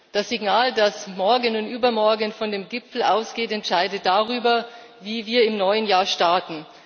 Das Signal, das morgen und übermorgen von dem Gipfel ausgeht, entscheidet darüber, wie wir im neuen Jahr starten.